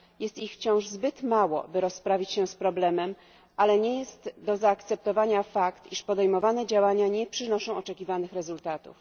Jest to wciąż zbyt mało, by rozprawić się z problemem, ale nie jest do zaakceptowania fakt, że podejmowane działania nie przynoszą oczekiwanych rezultatów.